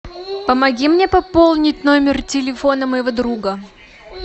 помоги мне пополнить номер телефона моего друга